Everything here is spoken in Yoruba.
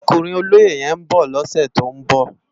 Òkúnrin ólóyé yèn n bò lòsè tó n bò